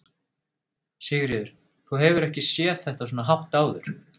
Sigríður: Þú hefur ekki séð þetta svona hátt áður?